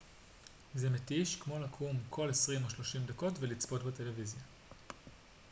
זה מתיש כמו לקום כל עשרים או שלושים דקות ולצפות בטלוויזיה